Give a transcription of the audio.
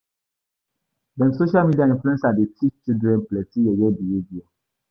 Dem social media inluencer dey teach children plenty yeye behaviour.